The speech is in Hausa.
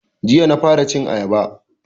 Jiya na fara cin ayaba